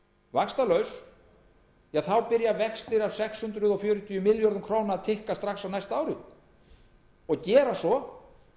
vaxtalaus þá byrja vextir af sex hundruð fjörutíu milljörðum króna að tikka strax á næsta ári og gera svo